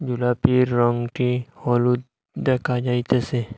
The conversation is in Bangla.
জিলাপির রঙটি হলুদ দেখা যাইতাসে।